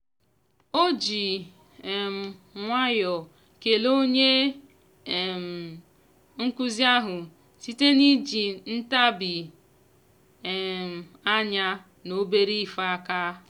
ọ ji um nwayọọ kelee onye um nkụzi ahụ site n'iji ntabi um anya na obere ife aka.